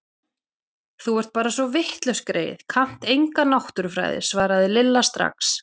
Þú ert bara svo vitlaus greyið, kannt enga náttúrufræði svaraði Lilla strax.